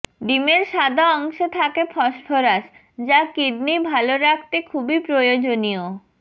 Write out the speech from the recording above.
ডিমের সাদা অংশে থাকে ফসফরাস যা কিডনি ভাল রাখতে খুবই প্রয়োজনীয়